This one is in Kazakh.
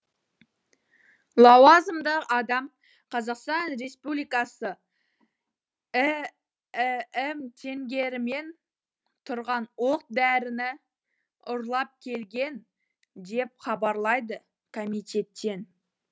лауазымды адам қазақстан республикасы іім теңгерімен тұрған оқ дәріні ұрлап келген деп хабарлайды комитеттен